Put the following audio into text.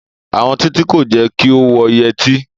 Àwọn Títí kò jẹ́ kí ó wọ yẹtí